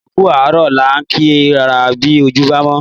Ẹ kú àárọ̀ la ń kí ra bí ojú bámọ́